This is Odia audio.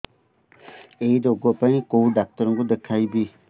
ଏଇ ରୋଗ ପାଇଁ କଉ ଡ଼ାକ୍ତର ଙ୍କୁ ଦେଖେଇବି